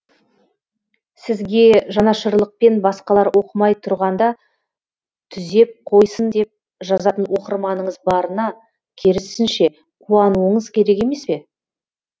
сізге жанашырлықпен басқалар оқымай тұрғанда түзеп қойсын деп жазатын оқырманыңыз барына керісінше қуануыңыз керек емес пе